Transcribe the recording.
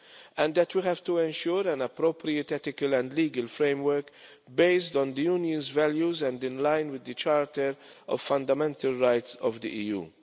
And that we have to ensure an appropriate ethical and legal framework based on the Union's values and in line with the Charter of Fundamental Rights of the EU.